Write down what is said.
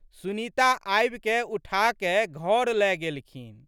सुनीता आबिकए उठाकए घर लए गेलखिन।